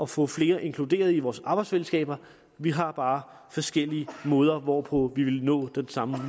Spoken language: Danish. få flere inkluderet i vores arbejdsfællesskaber vi har bare forskellige måder hvorpå vi vil nå den samme